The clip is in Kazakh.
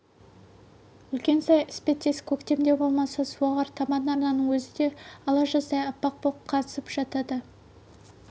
үлкен сай іспеттес көктемде болмаса су ағар табан арнаның өзі де ала жаздай аппақ боп қаңсып жатады